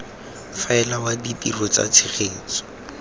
faela wa ditiro tsa tshegetso